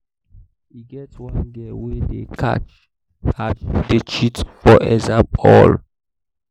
e get one girl wey dey catch as she dey cheat for exam hall